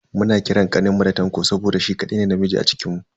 Muna kiran kaninmu da Tanko saboda shi kadai ne namiji a cikinmu.